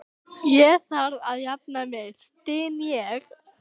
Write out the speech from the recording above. Ég þarf að jafna mig, styn ég.